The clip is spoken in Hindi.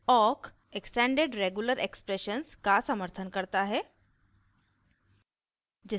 awk extended regular expressions ere का समर्थन करता है